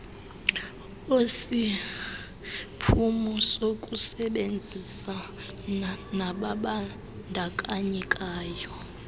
osisiphumo sokusebenzisana nababandakanyekayo